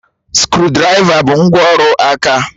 Skrụdiraiva bụ ngwá ọrụ aka